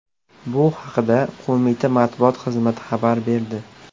Bu haqda qo‘mita matbuot xizmati xabar berdi .